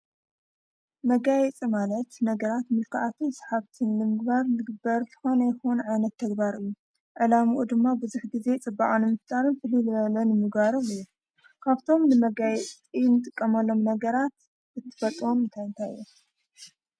መጋይ ጸማለት ነገራት ምልከኣትን ሰሓብትን ልምግባር ልግበርፍኾነ ይኾን ዓይነት ተግባርእዩ ዕላምኡ ድማ ብዝኅ ጊዜ ጽብዓኑ ምፍጣርን ፍልልበለን ምጓባርም እየ ካብቶም ንመጋይ ኢን ጥ ቀመሎም ነገራት እትፈፅወም ምታይንታይ እዮ።